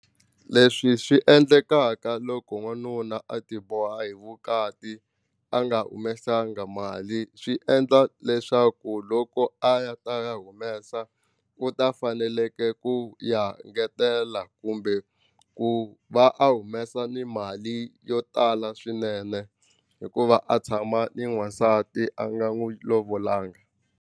Leswi swi endlekaka loko n'wanuna a ti boha hi vukati a nga humesanga mali swi endla leswaku loko a ya ta ya humesa u ta faneleke ku ya ngetela kumbe ku va a humesa ni mali yo tala swinene hikuva a tshama ni n'wasati a nga n'wi lovolanga.